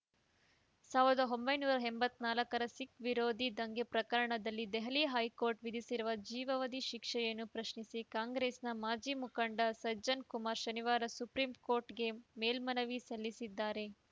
ಸಾವಿರದ ಒಂಬೈನೂರ ಎಂಬತ್ತ್ ನಾಲ್ಕರ ಸಿಖ್‌ ವಿರೋಧಿ ದಂಗೆ ಪ್ರಕರಣದಲ್ಲಿ ದೆಹಲಿ ಹೈಕೋರ್ಟ್‌ ವಿಧಿಸಿರುವ ಜೀವಾವಧಿ ಶಿಕ್ಷೆಯನ್ನು ಪ್ರಶ್ನಿಸಿ ಕಾಂಗ್ರೆಸ್‌ನ ಮಾಜಿ ಮುಖಂಡ ಸಜ್ಜನ್‌ ಕುಮಾರ್‌ ಶನಿವಾರ ಸುಪ್ರೀಂಕೋರ್ಟ್‌ಗೆ ಮೇಲ್ಮನವಿ ಸಲ್ಲಿಸಿದ್ದಾರೆ